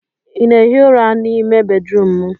ị na-ehi ụra n'ime bedrum m?